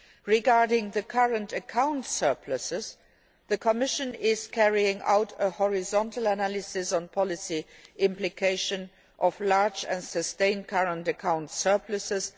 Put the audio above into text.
Regarding current account surpluses, the Commission is carrying out a horizontal analysis on the policy implications of large and sustained current account surpluses